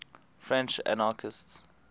french anarchists